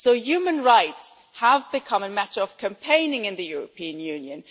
So human rights have become a matter of campaigning in the European Union.